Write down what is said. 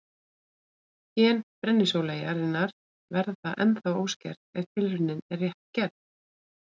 gen brennisóleyjarinnar verða ennþá óskert ef tilraunin er rétt gerð